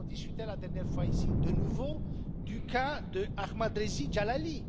Nous avons discuté la dernière fois, ici, de nouveau du cas d'Ahmadreza Djalali.